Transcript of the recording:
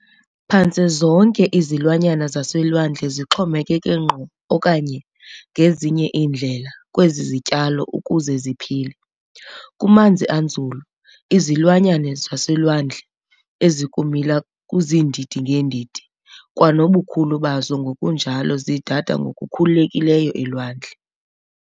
Phantse zonke izilwanyana zaselwandle zixhomekeke ngqo okanye, ngezinye iindlela, kwezi zityalo ukuze ziphile. Kumanzi anzulu, izilwanyana zolwandle ezikumila kuziindi-ngeendidi kwanobukhulu bazo ngkunjalo zidada ngokukhululekileyo elwandle.